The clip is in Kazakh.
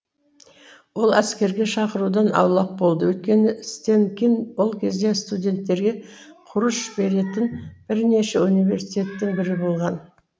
ол әскерге шақырудан аулақ болды өйткені стэнкин ол кезде студенттерге құрыш беретін бірнеше университеттің бірі болған